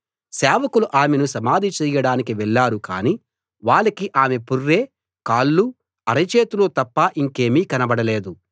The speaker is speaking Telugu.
సేవకులు ఆమెని సమాధి చేయడానికి వెళ్ళారు కానీ వాళ్ళకి ఆమె పుర్రె కాళ్ళు అరచేతులూ తప్ప ఇంకేమీ కనపడలేదు